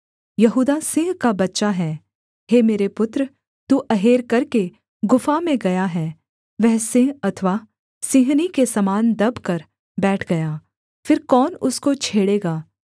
यहूदा सिंह का बच्चा है हे मेरे पुत्र तू अहेर करके गुफा में गया है वह सिंह अथवा सिंहनी के समान दबकर बैठ गया फिर कौन उसको छेड़ेगा